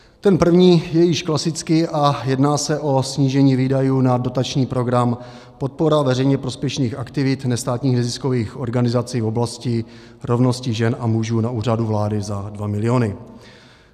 Ten první je již klasický a jedná se o snížení výdajů na dotační program Podpora veřejně prospěšných aktivit nestátních neziskových organizací v oblasti rovnosti žen a mužů na Úřadu vlády za 2 miliony.